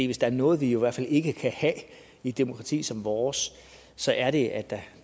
hvis der er noget vi jo i hvert fald ikke kan have i et demokrati som vores så er det at der